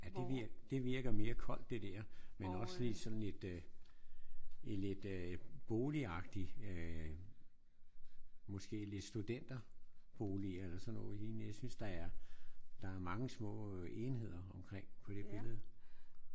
Ja det virker det virker mere koldt det der. Men også lige sådan lidt øh lidt boligagtigt øh måske lidt studenterboliger eller sådan noget lignende. Jeg synes der er der er mange små enheder omkring på det billede